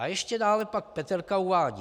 A ještě dále pak Peterka uvádí.